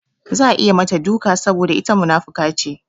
Za a yi mata duka saboda ita munafuka ce.